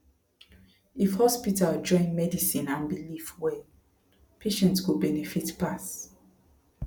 if hospital join medicine and belief well patient go benefit pass